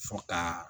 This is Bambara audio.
Fo ka